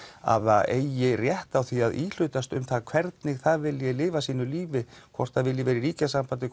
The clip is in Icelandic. að það eigi rétt á því að íhlutast um það hvernig það vilji lifa sínu lífi hvort það vilji vera í ríkjasambandi